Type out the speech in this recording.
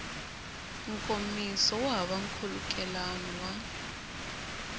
nkomiso wu hava nkhulukelano wa